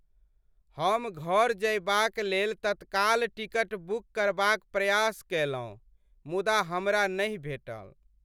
हम घर जयबाक लेल तत्काल टिकट बुक करबाक प्रयास कयलहुँ मुदा हमरा नहि भेटल।